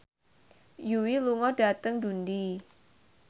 Yui lunga dhateng Dundee